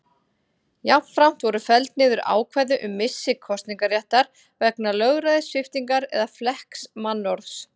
Jafnframt voru felld niður ákvæði um missi kosningaréttar vegna lögræðissviptingar eða flekkaðs mannorðs.